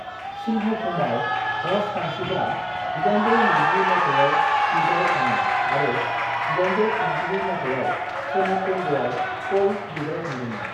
सिंहभूमआव ह'श मानसिफ्रा 1820 मायथाइयाव बिग्रायखाङो आरो 1832 मायथाइयाव सोनाब बंगआव क'ल बिग्रायखांदोंमोन।